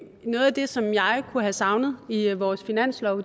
noget af det som jeg kunne have savnet i vores finanslov